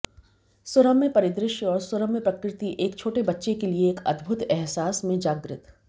सुरम्य परिदृश्य और सुरम्य प्रकृति एक छोटे बच्चे के लिए एक अद्भुत अहसास में जागृत